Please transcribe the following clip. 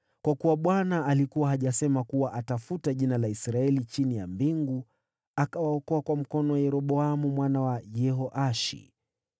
Kwa kuwa Bwana alikuwa hajasema kuwa atafuta jina la Israeli chini ya mbingu, akawaokoa kwa mkono wa Yeroboamu mwana wa Yehoashi.